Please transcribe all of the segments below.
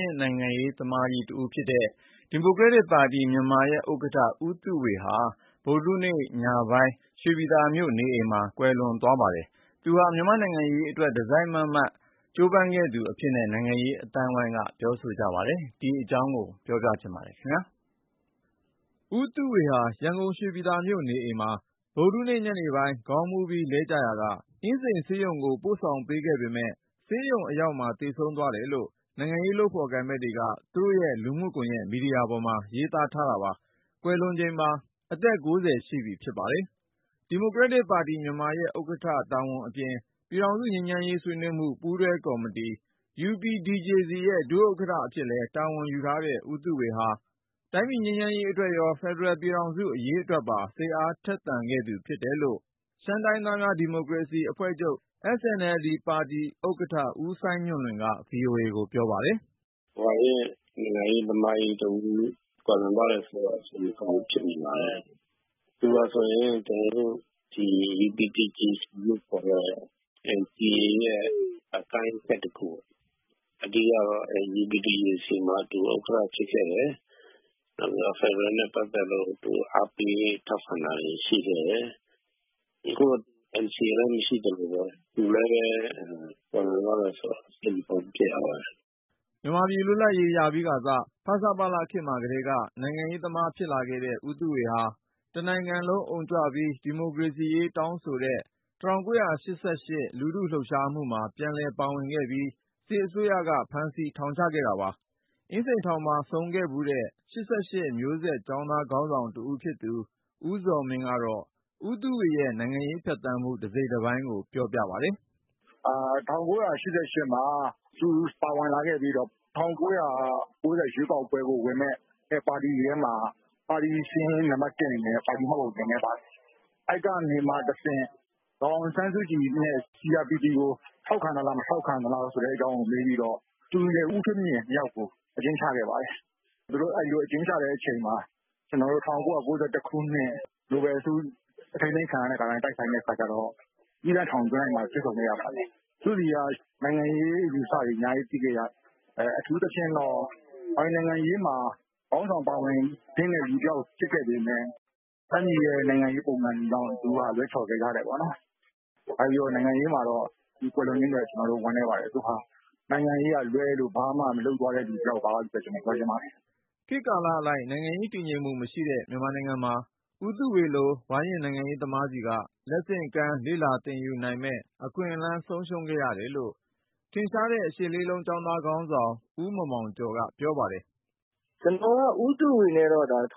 ရင့်နိုင်ငံရေးသမားကြီး ဦးသုဝေ ကွယ်လွန် ဒီမိုကရက်တစ်ပါတီ( မြန်မာ)ရဲ့ ဥက္ကဋ္ဌ ဦးသုဝေဟာ မေလ(၁၈)ရက် ဗုဒ္ဓဟူးနေ့ ညပိုင်း၊ ရန်ကုန်တိုင်း ရွှေပြည်သာမြို့ နေအိမ်မှာ ကွယ်လွန်သွားပါတယ်။ ဝါရင့်နိုင်ငံရေးသမားကြီး ဦးသုဝေ ဟာ မြန်မာ့နိုင်ငံရေးအတွက် တစိုက်မတ်မတ် ကြိုးပမ်းခဲ့သူ အဖြစ်နဲ့လည်း နိုင်ငံရေး အသိုင်းအဝန်းနဲ့ လုပ်ဖော်ကိုင်ဖက်တွေက ပြောကြပါတယ်။ ကိုဉာဏ်ဝင်းအောင်က စုစည်း တင်ပြထားတာပါ။ ဦးသုဝေဟာ ရန်ကုန် ရွှေပြည်သာမြို့ နေအိမ်မှာ ဗုဒ္ဓဟူးနေ့ညနေပိုင်း ခေါင်းမူးပြီး လဲကျရာက အင်းစိန်ဆေးရုံကို ပို့ဆောင်ပေးခဲ့ပေမယ့် ဆေးရုံအရောက်မှာ သေဆုံးသွားတယ်လို့ နိုင်ငံရေး လုပ်ဖေါ်ကိုင်ဖက်တွေက သူတို့ရဲ့လူမှုကွန်ယက် မီဒီယာပေါ်မှာ ရေးသားထားတာပါ။ ကွယ်လွန်ချိန်မှာ အသက်(၉၀) ရှိပြီဖြစ်ပါတယ်။ ဒီမိုကရက်တစ်ပါတီ ( မြန်မာ)ရဲ့ ဥက္ကဋ္ဌ တာဝန်အပြင် ၊ ပြည်ထောင်စုငြိမ်းချမ်းရေး ဆွေးနွေးမှု ပူးတွဲကော်မတီ(UPDJC)ရဲ့ ဒုဥက္ကဋ္ဌ အဖြစ်လည်း တာဝန်ယူထားတဲ့ ဦးသုဝေဟာ တိုင်းပြည် ငြိမ်းချမ်းရေးအတွက်ရော ဖက်ဒရယ်ပြည်ထောင်စု အရေးအတွက်ပါ စိတ်အားထက်သန်ခဲ့သူ ဖြစ်တယ်လို့ ရှမ်းတိုင်းရင်းသားများ ဒီမိုကရေစီအဖွဲ့ချုပ်(SNLD)ပါတီ ဥက္ကဌ ဦးစိုင်းညွန့်လွင်က VOA ကို ပြောပါတယ်။ " ဝါရင့် နိုင်ငံရေးသမားကြီးတဦး ကွယ်လွန်သွားတယ် ဆိုတော့ စိတ်မကောင်း ဖြစ်မိပါတယ်။ သူဟာဆိုရင် UPDJC လို့ခေါ်တဲ့ NCA ရဲ့ အကိုင်းအခက်တခုပေါ့။ အဓိကတော့ UPDJC မှာ သူ ဒုဥက္ကဌဖြစ်ခဲ့တယ်။ နောက် ဖက်ဒရယ်နဲ့ ပတ်သက်လို့ အားပေး ထောက်ခံတာတွေ ရှိခဲ့တယ်။ အခုလို သူကွယ်လွန်သွားတာအတွက် စိတ်မကောင်း ဖြစ်ရပါတယ်။ " မြန်မာပြည် လွတ်လပ်ရေးရပြီးခါစ ဖဆပလ ခေတ်မှာကတည်းက နိုင်ငံရေးသမား ဖြစ်လာခဲ့တဲ့ ဦးသုဝေဟာ တနိုင်ငံလုံးအုံကြွပြီး ဒီမိုကရေစီရေး တောင်းဆိုခဲ့တဲ့ ၁၉၈၈ လူထုလုပ်ရှားမှုမှာ ပြန်လည်ပါဝင်လာပြီး စစ်အစိုးရက ဖမ်းဆီး ထောင်ချခဲ့တာပါ။ အင်းစိန်ထောင်မှာ ဆုံခဲ့ဖူးတဲ့ ၈၈ မျိုးဆက် ကျောင်းသားခေါင်းဆောင်တဦး ဖြစ်တဲ့ ဦးဇော်မင်းကတော့ ဦးသုဝေ ရဲ့ နိုင်ငံရေး ဖြတ်သန်းမှု တစိတ်တပိုင်းကို အခုလို ပြောပြပါတယ်။ " ၁၉၈၈ မှာ ဦးသုဝေ ပြန်ပါလာခဲ့ပြီးတော့ ၁၉၉၀ ရွေးကောက်ပွဲကို ဝင်မယ့် ပါတီတွေထဲမှာ သူ့ပါတီက ပထမဆုံး မှတ်ပုံတင်ခဲ့တဲ့ ပါတီဖြစ်ပါတယ်။ အဲဒီကနေမှတဆင့် ဒေါ်အောင်ဆန်းစုကြည်နဲ့ CRPP (ပြည်သူ့လွှတ်တော် ကိုယ်စားပြုကော်မတီ)ကို ထောက်ခံသလား မထောက်ခံဘူးလား ဆိုတဲ့အကြောင်းကို မေးပြီးတော့ သူရယ် ဦးထွေးမြင့်ရယ်ကို အကျဉ်းချခဲ့ပါတယ်။ သူတို့အဲဒီလို အကျဉ်းကျနေတဲ့အချိန် ၊ ၁၉၉၁ ခုနှစ် နိုဘယ်ငြိမ်းချမ်းရေးဆု လှုပ်ရှားမှုနဲ့ ကျနော်တို့ အထိမ်းသိမ်းခံရတဲ့အခါမှာ အင်းစိန် သီးသန့်ထောင် တိုက်မှာ တွေ့ဆုံခဲ့ရပါတယ်။ သူ့ဆီက နိုင်ငံရေး အယူအဆတွေ အများကြီးသိခဲ့ရတယ်။ အထူးသဖြင့် သူက ပါတီနိုင်ငံရေးမှာ ခေါင်းဆောင် ပါဝင်သင့်တဲ့လူတယောက် ဖြစ်ခဲ့ပေမဲ့ တိုင်းပြည်ရဲ့နိုင်ငံရေးပုံစံတွေကြောင့် သူက လွဲချော် ခဲ့ရတာပေါ့နော်။ ဘာပဲ ပြောပြော နိုင်ငံရေးမှာ သူကွယ်လွန်ခြင်းအတွက် ကျနော်တို့ ဝမ်းနည်းပါတယ်။ သူဟာ နိုင်ငံရေးကလွဲလို့ ဘာမှလုပ်မသွားတဲ့လူ တယောက်ပါလို့ပဲ ပြောချင်ပါတယ်။ " ခေတ်ကာလအလိုက် နိုင်ငံရေးတည်ငြိမ်မှု မရှိခဲ့တဲ့ မြန်မာနိုင်ငံမှာ ဦးသုဝေ လို ဝါရင့်နိုင်ငံရေးသမားဆီက လက်ဆင့်ကမ်း လေ့လာသင်ယူနိုင်မယ့် အခွင့်အလမ်း ဆုံးရှုံးခဲ့ရတယ်လို့ ထင်ရှားတဲ့ ၈၈၈၈ ကျောင်းသားခေါင်းဆောင် ဦးမောင်မောင်ကျော်က ပြောပါတယ်။ " ကျနော်က ဦးသုဝေနဲ့တော့ ၁၉၈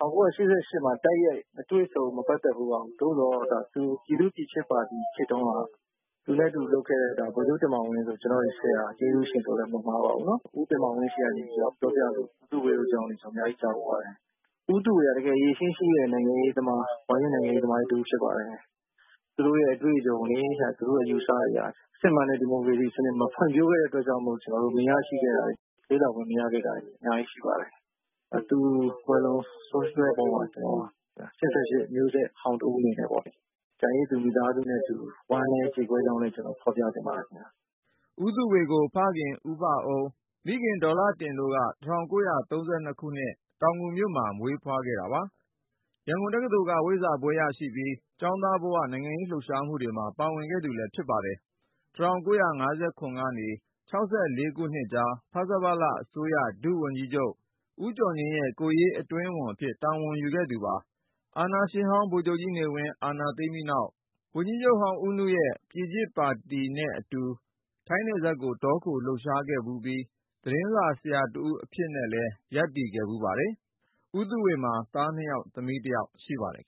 ၈ မှာ တိုက်ရိုက် မတွေ့ဆုံ ၊ မပတ်သက်ဖူးပါဘူး။ သို့သော် ပြည်သူ့ပြည်ချစ်ပါတီ ခေတ်တုန်းက သူနဲ့အတူ လုပ်ခဲ့တဲ့ ဗိုလ်ချုပ် တင်မောင်ဝင်း ဆို ကျနော့ရဲ့ဆရာ၊ ကျေးဇူးရှင်ဆိုလည်း မမှားပါဘူး။ ဦးတင်မောင်ဝင်း ( ခေတ်ပြိုင် သတင်းစာ) ပြောပြလို့ ဦးသုဝေ အကြောင်းတွေ ကျနော် အတော်လေး ကြားဖူးပါတယ်။ ဦးသုဝေက တကယ် အရည်အချင်းရှိတဲ့ နိုင်ငံရေးသမား၊ ဝါရင့်နိုင်ငံရေးသမားကြီး တဦး ဖြစ်ပါတယ်။ သူတို့အတွေ့အကြုံတွေ သူတို့ အယူအဆတွေဟာ စစ်မှန်တဲ့ဒီမိုကရေစီစနစ် မဖွံ့ဖြိုးတဲ့ အတွက်ကြောင့်မို့ သူ့ဆီက လေ့လာခွင့် မရခဲ့တာတွေ အများကြီးရှိပါတယ်။ သူ ကွယ်လွန် ဆုံးရှုံးသွားတဲ့အပေါ်မှာ ကျနော် ၈၈ မျိုးဆက်ဟောင်း တဦးအနေနဲ့ပေါ့ ကျန်ရစ်သူမိသားစုနဲ့အတူ ဝမ်းနည်းကြေကွဲကြောင်းလည်း ပြောချင်ပါတယ်။ " ဦးသုဝေကို ဖခင် ဦးဘအုန်း၊ မိခင် ဒေါ်လှတင် တို့ကနေ ၁၉၃၂ ခုနှစ် တောင်ငူမြို့မှာ မွေးဖွားခဲ့တာပါ။ ရန်ကုန်တက္ကသိုလ်က ဝိဇ္ဇာဘွဲ့ ရရှိခဲ့သူဖြစ်ပြီး ကျောင်းသားဘဝ နိုင်ငံရေးလှုပ်ရှားမှှုတွေမှာ ပါဝင်ခဲ့သူလည်း ဖြစ်ပါတယ်။ ၁၉၅၇ ကနေ ၁၉၆၄ နှစ်ကြား ဖဆပလအစိုးရ ဒုဝန်ကြီးချုပ် ဦးကျော်ငြိမ်းရဲ့ ကိုယ်ရေးအတွင်းဝန်အဖြစ် တာဝန်ယူခဲ့သူပါ။ အာဏာရှင်ဟောင်း ဗိုလ်ချုပ်ကြီးနေဝင်း အာဏာသိမ်းပြီးနောက် ဝန်ကြီးချုပ်ဟောင်း ဦးနုရဲ့ ပြည်ချစ်ပါတီနဲ့အတူ ထိုင်းနယ်စပ်ကို တောခို လှုပ်ရှားခဲ့ဖူးပြီး၊ သတင်းစာဆရာ တဦးအဖြစ်နဲ့လည်း လုပ်ကိုင်ခဲ့ပါတယ်။ ဦးသုဝေမှာ သား(၂ ) ယောက် သမီး(၁) ယောက် ရှိပါတယ်